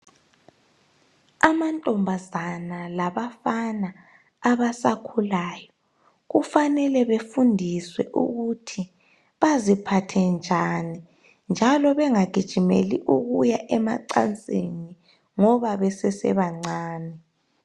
Amantombazana labafana abasakhulayo, kufanele befundiswe ukuthi baziphathe njani, njalo bengagijimeli, ukuya emacansini, ngoba besesebancane.